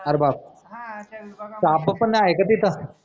अर बाप साप पन आहे का तिथं?